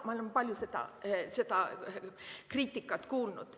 Ma olen palju seda kriitikat kuulnud.